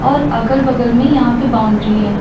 और अगल बगल में यहां पे बाउंड्री है।